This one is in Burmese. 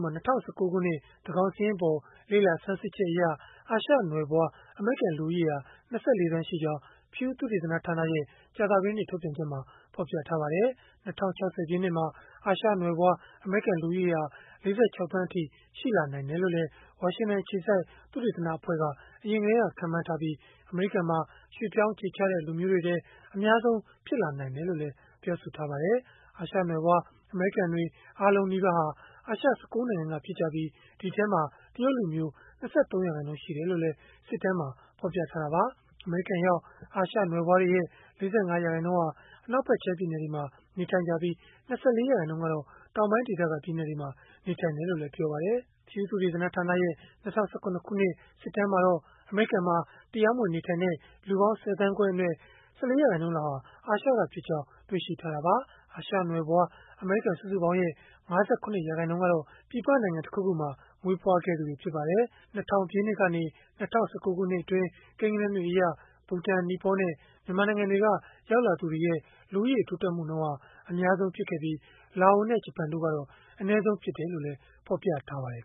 မှာ ၂၀၁၉ ခုနှစ် သန်းခေါင်စာရင်းအပေါ် လေ့လာဆန်းစစ်ချက်အရ အာရှနွယ်ဖွား အမေရိကန် လူဦးရေဟာ ၂၄ သန်း ရှိကြောင်း PEW သုတေသနဌာနရဲ့ ကြာသပတေးနေ့ ထုတ်ပြန်ချက်မှာ ဖော်ပြထားပါတယ်။ ၂၀၆၀ ပြည့်နှစ်မှာ အာရှနွယ်ဖွား အမေရိကန် လူဦးရေဟာ ၄၆ သန်းအထိ ရှိလာနိုင်တယ်လို့လည်း ဝါရှင်တန်အခြေစိုက် သုတေသနအဖွဲ့က အရင်ကတည်းက ခန့်မှန်းထားပြီး၊ အမေရိကန်မှာ ရွှေ့ပြောင်းအခြေချတဲ့ လူမျိုးတွေထဲမှာ အများဆုံး ဖြစ်လာနိုင်တယ်လို့လည်း ပြောပါတယ်။ အာရှနွယ်ဖွား အမေရိကန်တွေ အားလုံးနီးပါးဟာ အာရှ ၁၉ နိုင်ငံက ဖြစ်ကြပြီး၊ ဒီအထဲမှာ တရုတ်လူမျိုးက ၂၃ ရာခိုင်နှုန်းရှိတယ်လို့လည်း စစ်တမ်းမှာ ဖော်ပြထားတာပါ။ အမေရိကန်ရောက် အာရှနွယ်ဖွားတွေရဲ့ ၄၅ ရာခိုင်နှုန်းဟာ အနောက်ဖက်ခြမ်း ပြည်နယ်တွေမှာ နေထိုင်ကြပြီး၊ ၂၄ ရာခိုင်နှုန်းကတော့ တောင်ပိုင်းဒေသက ပြည်နယ်တွေမှာ နေထိုင်တယ်လို့လည်း ပြောပါတယ်။ PEW သုတေသနဌာနရဲ့ ၂၀၁၇ ခုနှစ် စစ်တမ်းမှာတော့ အမေရိကန်မှာ တရားမဝင် နေထိုင်နေကြတဲ့ လူပေါင်း ၁၀ သန်းခွဲအနက် ၁၄ ရာခိုင်နှုန်းလောက်ဟာ အာရှကဖြစ်ကြောင်း တွေ့ရှိထားတာပါ။ အာရှနွယ်ဖွား အမေရိကန် စုစုပေါင်းရဲ့ ၅၇ ရာခိုင်နှုန်းကတော့ ပြည်ပနိုင်ငံ တခုခုမှာ မွေးဖွားခဲ့သူတွေ ဖြစ်ပါတယ်။ ၂၀၀၀ ပြည့်နှစ်ကနေ ၂၀၁၉ နှစ်အတွင်း ကိန်းဂဏန်းတွေအရ၊ ဘူတန်၊ နီပေါနဲ့ မြန်မာနိုင်ငံတို့က ရောက်လာသူတွေရဲ့ လူဦးရေ တိုးတက်မှုနှုန်းဟာ အများဆုံး ဖြစ်ခဲ့ပြီး လာအိုနဲ့ ဂျပန်ကတော့ အနည်းဆုံးဖြစ်ခဲ့တယ်လို့လည်း ဖော်ပြထားပါတယ်